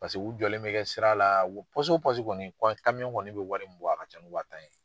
Paseke u jɔlen bɛ kɛ sira la o kɔni kɔni bɛ wari mun bɔ a ka ca ni wa tan ye.